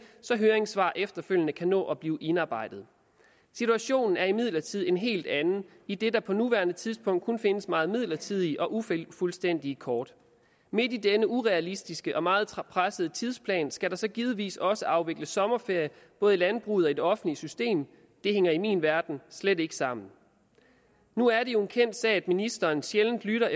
så høringssvar efterfølgende kan nå at blive indarbejdet situationen er imidlertid en helt anden idet der på nuværende tidspunkt kun findes meget midlertidige og ufuldstændige kort midt i denne urealistiske og meget pressede tidsplan skal der så givetvis også afvikles sommerferie både i landbruget og i det offentlige system det hænger i min verden slet ikke sammen nu er det jo en kendt sag at ministeren sjældent lytter